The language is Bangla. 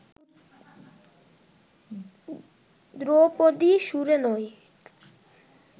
ধ্রুপদী সুরে নয়